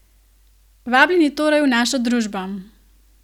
Vabljeni torej v našo družbo!